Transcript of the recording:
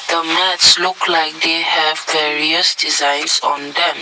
the mesh looks like the have the various designs on them.